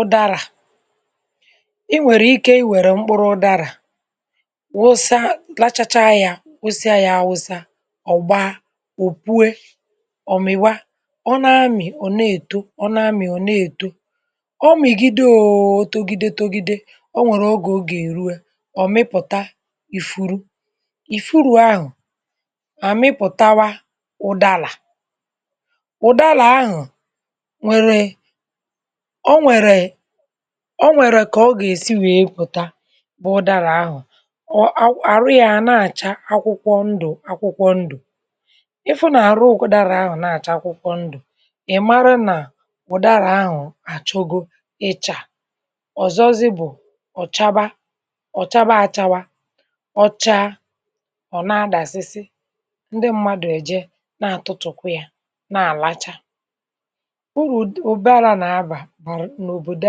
Ụ̀dàrà ị nwere ike ị nwere mkpụrụ ụ̀dàrà wụsa, lachacha ya, kwụsịa ya, awụsa ọgba, ọ pụe, ọ mịwa, ọ na-amị, ọ na-eto, ọ na-amị, ọ na-eto, ọ mịgide, ọ tọgide tọgide. Ọ nwere oge, oge eruo, ọ mịpụta ifuru, ifuru ahụ à mịpụtawa. Ụ̀dàrà, ụ̀dàrà ahụ̀ nwere um o nwèrè ka o gà-esi wèe pụ̀ta. Ụ̀dàrà ahụ̀ àrụ yà à na-àcha akwụkwọ ndụ̀, akwụkwọ ndụ̀. Ị hụ̀ nà àrụ ụkwụ ụ̀dàrà ahụ̀ na-àcha akwụkwọ ndụ̀, ị̀ mara nà ụ̀dàrà ahụ achọgo ịcha ọ̀zọ. Ọ zì bụ̀ ọ̀ chàba, ọ̀ chàba, achàwa, ọ chaa, ọ̀ na-adàsịsị. Ụ̀dàrà na-adàsịsị ndị mmadụ̀ èje na-àtụ̀tụ̀kụ̀ yà, na-àlàcha um. Uru ụ̀dàrà na-abà n’òbòdò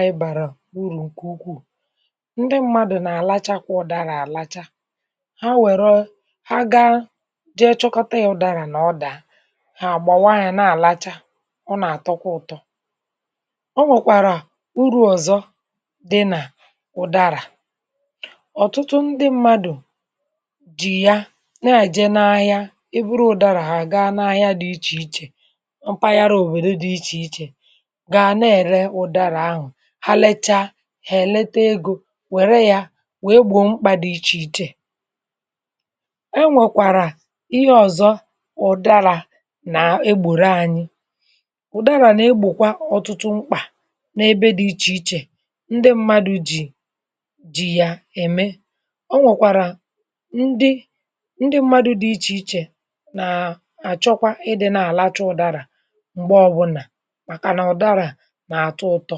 a ibàrà urù ǹkè ukwuù. Ndị mmadụ̀ na-àlàcha kwa ụ̀dàrà, àlàcha, ha wèrọ̀ um, ha gaa jee chọkọta ya. Ụ̀dàrà nà ọdà, ha àgbàwa ya, na-àlàcha, ọ nà-àtọkwa ụtọ. Ọ nwèkwàrà uru̇ ọ̀zọ dị n’ụ̀dàrà. Ọ̀tụtụ ndị mmadụ̀ jì ya na-àje n’ahịa, eburu ụ̀dàrà ha gaa n’ahịa dị iche iche, mpaghara Òwèrè dị iche iche, gà na-ere ụ̀dàrà ahụ. Ha lechaa, hà èlete ego, wère ya wèe gbòo mkpà dị iche iche. E nwèkwàrà ihe ọ̀zọ, ụ̀dàrà nà egbòro anyị, ụ̀dàrà nà egbòkwa ọ̀tụtụ mkpà n’ebe dị iche iche ndị mmadụ̇ jì ji ya ème. Ọ nwèkwàrà ndị mmadụ̇ dị iche iche nà-àchọkwa ịdị̇ n’àlàcha ụ̀dàrà mgbè ọbụna, maka nà ụ̀dàrà a na-azụtọ.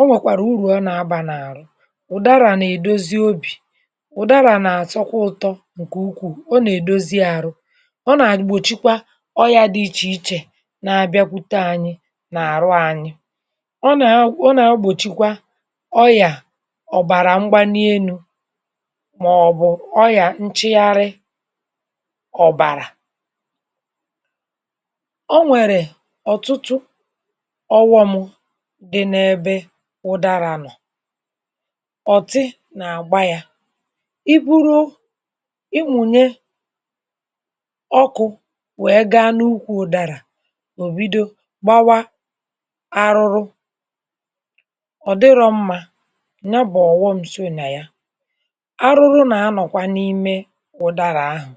Ọ nwèkwàrà uru, ọ nà-agbà n’àrụ. Ụ̀dàrà nà-èdozi obi, ụ̀dàrà nà-àsọkwa ụtọ̇ ǹkè ukwuù. Ọ nà-èdozi àrụ, ọ nà-àgbòchikwa ọrịa dị iche iche na-abịakwute anyị n’àrụ anyị. Ọ nà-[um], ọ nà-àgbòchikwa ọrịa yà, ọ̀bàrà mgbà n’elu̇, màọbụ̀ nchagharị ọ̀bàrà. Ọ nwèrè ọtụtụ uru̇mụ̇ [m]. Ụ̀dàrà nọ̀, ọ̀tì nà àgbà yà. Ị buru, ị munye ọkụ̇, wee gaa n’ukwù ụ̀dàrà, ọ bido gbawa àrụ, ọ̀ dịrọ̇ mma. Nya bụ̀ ọ̀ghọm ńsị na ya, àrụ̀rụ̀ nà nọ̀kwa n’ime ụ̀dàrà ahụ̀.